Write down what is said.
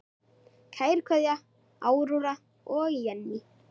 Kær kveðja, Áróra og Jenný.